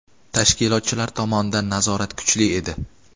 Tashkilotchilar tomonidan nazorat kuchli edi.